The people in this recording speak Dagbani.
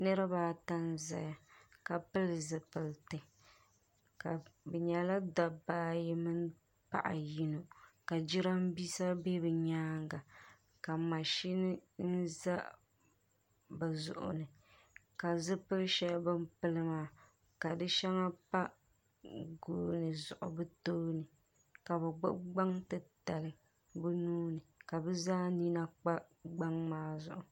niriba ata n-zaya ka pili zupiliti bɛ nyɛla dabba ayi mini paɣa yino ka jiraaminsa be bɛ nyaaga ka mashini za bɛ zuɣu ni ka zupili shɛli bɛ pili maa ka di shɛŋa pa gooni zuɣu bɛ tooni ka bɛ gbubi gbaŋ titali bɛ nuu ni ka bɛ zaa nina kpa. li.